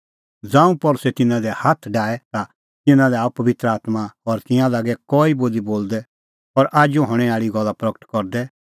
ज़ांऊं पल़सी तिन्नां दी हाथ डाहै ता तिन्नां लै आअ पबित्र आत्मां और तिंयां लागै कई बोली बोलदै और आजू हणैं आल़ी गल्ला प्रगट करदै